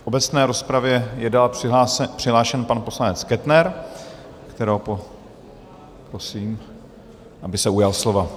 V obecné rozpravě je dále přihlášen pan poslanec Kettner, kterého prosím, aby se ujal slova.